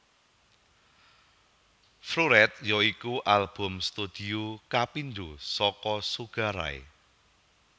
Floored ya iku album studio kapindho saka Sugar Ray